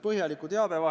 Palun!